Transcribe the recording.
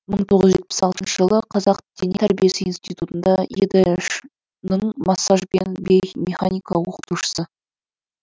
мың тоғыз жүз жетпіс алтыншы жылы қазақ дене тәрбиесі институтында едш ның массажбен биомеханика окытушысы